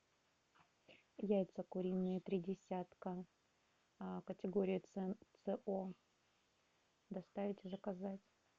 яйца куриные три десятка категория ц о доставить и заказать